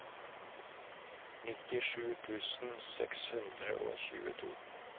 nittisju tusen seks hundre og tjueto